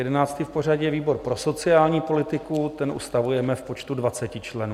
Jedenáctý v pořadí je výbor pro sociální politiku, ten ustavujeme v počtu 20 členů.